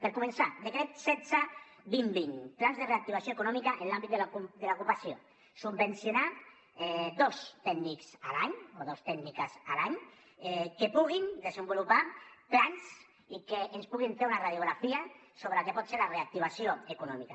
per començar decret setze dos mil vint plans de reactivació econòmica en l’àmbit de l’ocupació subvencionar dos tècnics a l’any o dos tècniques a l’any que puguin desenvolupar plans i que ens puguin fer una radiografia sobre el que pot ser la reactivació econòmica